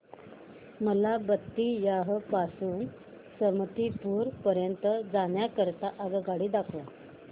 मला बेत्तीयाह पासून ते समस्तीपुर पर्यंत जाण्या करीता आगगाडी दाखवा